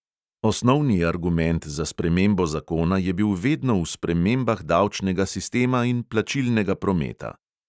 Osnovni argument za spremembo zakona je bil vedno v spremembah davčnega sistema in plačilnega prometa.